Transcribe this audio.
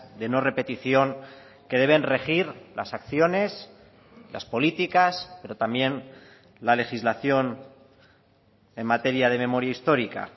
de no repetición que deben regir las acciones las políticas pero también la legislación en materia de memoria histórica